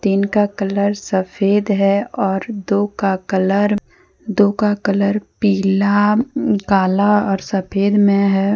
तीन का कलर सफेद है और दो का कलर दो का कलर पीला काला और सफेद में है।